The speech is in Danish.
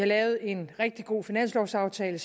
lavet en rigtig god finanslovaftale